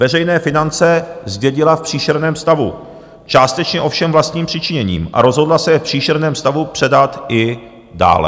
Veřejné finance zdědila v příšerném stavu, částečně ovšem vlastním přičiněním, a rozhodla se je v příšerném stavu předat i dále."